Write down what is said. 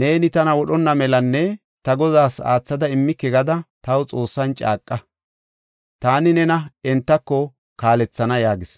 “Neeni tana wodhonna melanne ta godaas aathada immike gada taw Xoossan caaqa; taani nena entako kaalethana” yaagis.